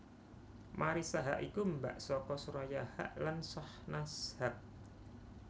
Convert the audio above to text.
Marissa Haque iku mbak saka Soraya Haque lan Shahnaz Haque